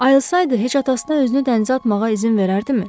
Ayılsaydı heç atasına özünü dənizə atmağa izin verərdimi?